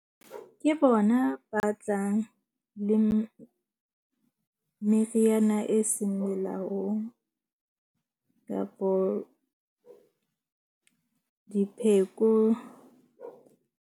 Ke bona ba tlang le meriana e seng melaong kapo dipheko.